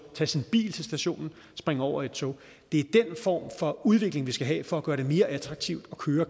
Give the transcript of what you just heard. tage sin bil til stationen og springe over i et tog det er den form for udvikling vi skal have for at gøre det mere attraktivt at køre